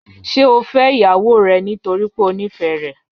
Ṣe o fẹ iyawo rẹ nitori pe o nifẹ rẹ?